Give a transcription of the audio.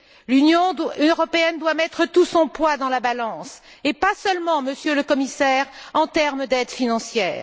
L'Union européenne doit mettre tout son poids dans la balance et pas seulement, Monsieur le Commissaire, en termes d'aide financière.